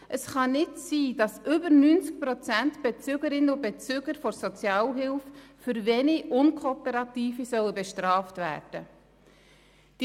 Es kann nicht sein, dass mehr als 90 Prozent der Bezügerinnen und Bezüger von Sozialhilfe wegen weniger Unkooperativer bestraft werden sollen.